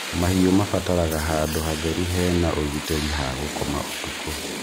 Mahiũ mabataraga handũ hatheru he na ũgitĩri ha gũkoma ũtukũ.